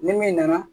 Ni min nana